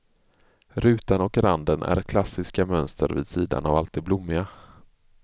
Rutan och randen är klassiska mönster vid sidan av allt det blommiga.